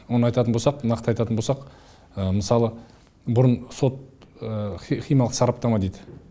оны айтатын болсақ нақты айтатын болсақ мысалы бұрын сот химиялық сараптама дейді